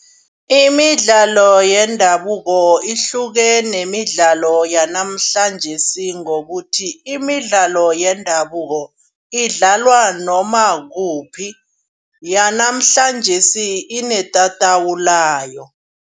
Imidlalo yendabuko ihluke nemidlalo yanamhlanjesi ngokuthi. Imidlalo yendabuko idlalwa noma kuphi yanamhlanjesi inetatawu layo.